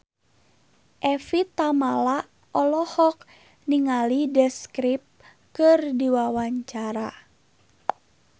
Evie Tamala olohok ningali The Script keur diwawancara